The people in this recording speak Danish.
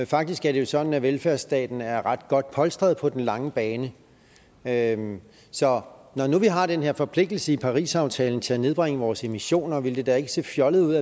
faktisk er det sådan at velfærdsstaten er ret godt polstret på den lange bane bane så når nu vi har den her forpligtelse i parisaftalen til at nedbringe vores emissioner ville det da ikke se fjollet ud